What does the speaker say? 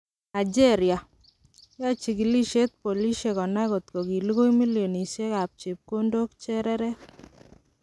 Nigeria: Yoe chikilisiet polisiek konai kotgo kilugui milionisiek ab chepkondok chereret.